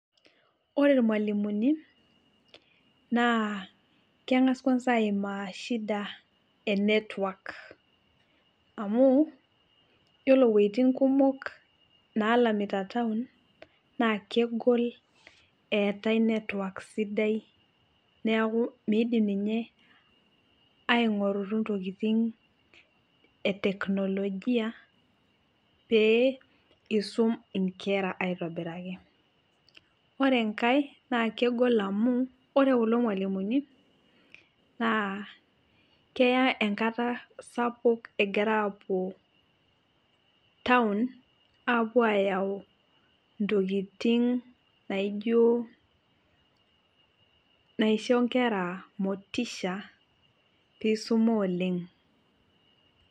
Ore ilmalimuni naa kengas kwansa aimaa shida enetwak, amu ore iwojitin kumok naalamita taon naa kegol eetai netwak sidai, neeku miidim ninye ainkorutu intokitin eteknologia, pee isum inkera aitobiraki. Ore enkae naa kegol amu, ore kulo malimumi naa keya enkata sapuk egira aapuo taon aayau intokitin naijo naisho inkera motisha peeisuma oleng'.